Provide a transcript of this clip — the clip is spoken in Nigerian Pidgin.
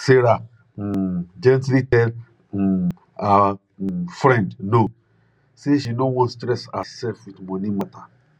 sarah um gently tell um her um friend no say she no wan stress her sef with money matter